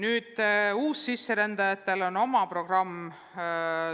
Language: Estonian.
Ka uussisserändajatele on oma programm.